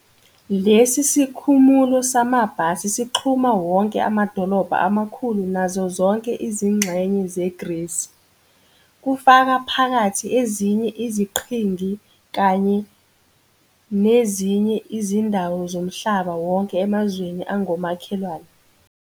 Lesi sikhumulo samabhasi sixhuma wonke amadolobha amakhulu nazo zonke izingxenye zeGrisi, kufaka phakathi ezinye iziqhingi kanye nezinye izindawo zomhlaba wonke emazweni angomakhelwane.